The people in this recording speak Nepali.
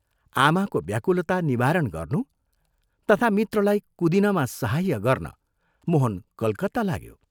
आमाको व्याकुलता निवारण गर्नु तथा मित्रलाई कुदिनमा सहाय्य गर्न मोहन कलकत्ता लाग्यो।